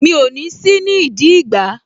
Mi ò ní sí nídìí ìgbá